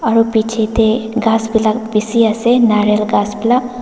aru bichae tae ghas khan bishi ase naral ghas--